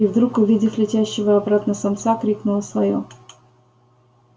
и вдруг увидев летящего обратно самца крикнула своё